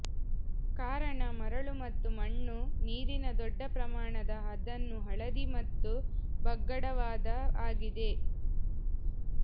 ಕಾರಣ ಮರಳು ಮತ್ತು ಮಣ್ಣು ನೀರಿನ ದೊಡ್ಡ ಪ್ರಮಾಣದ ಅದನ್ನು ಹಳದಿ ಮತ್ತು ಬಗ್ಗಡವಾದ ಆಗಿದೆ